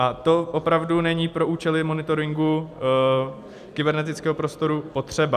A to opravdu není pro účely monitoringu kybernetického prostoru potřeba.